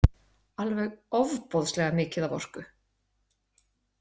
Alveg ofboðslega mikið af orku.